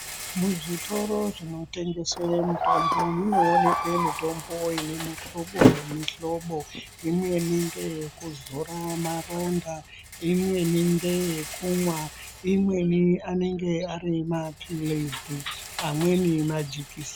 Muzvitoro zvinotengeswe mitombo munoonekwe mitombo ine muhlobo nemihlobo imweni ngeyekuzora maronda, imweni ngeyekumwa, imweni anenge ari mapilizi, amweni majikiseni.